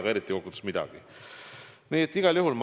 See ei anna kokkuvõttes eriti midagi.